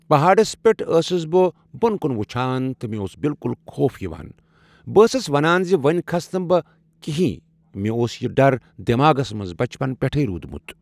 پہاڑس پیٹھ ٲسس بہٕ بۄن کُن وٕچھان تہ مےٚ اوس بالکُل خوف یوان ۔ بہٕ ٲسس ونان زِ وۄنۍ کھسنہٕ بہٕ کہیٖنۍ۔ مےٚ اوس یہِ ڈر دٮ۪ماغس منٛز بچپن پٮ۪ٹھٕے روٗدمُت